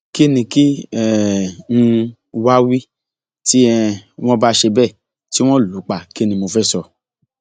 kínní kí um n wáá wí tí um wọn bá ṣe bẹẹ tí wọn lù ú pa kín ni mo fẹẹ sọ